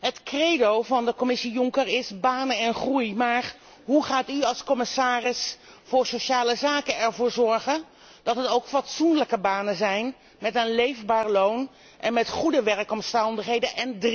Het credo van de Commissie Juncker is banen en groei, maar hoe gaat u als commissaris voor sociale zaken ervoor zorgen dat het ook fatsoenlijke banen zijn met een leefbaar loon en met goede werkomstandigheden?